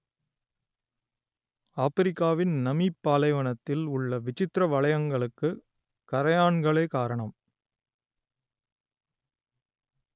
ஆப்பிரிக்காவின் நமீப் பாலைவனத்தில் உள்ள விசித்திர வளையங்களுக்கு கறையான்களே காரணம்